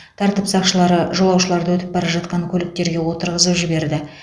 тәртіп сақшылары жолаушыларды өтіп бара жатқан көліктерге отырғызып жіберді